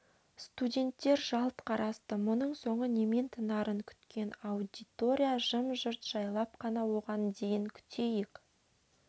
студенттер жалт қарасты мұның соңы немен тынарын күткен аудитория жым-жырт жайлап қана оған дейін күтейік